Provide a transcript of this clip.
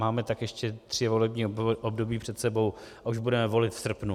Máme tak ještě tři volební období před sebou, a už budeme volit v srpnu.